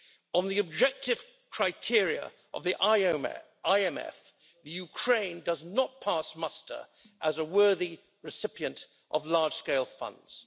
On the objective criteria of the IMF, Ukraine does not pass muster as a worthy recipient of large-scale funds.